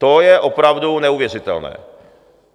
To je opravdu neuvěřitelné!